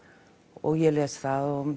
og ég les það og